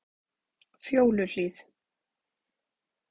Fjóluhlíð